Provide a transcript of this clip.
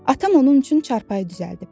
Atam onun üçün çarpayı düzəldib.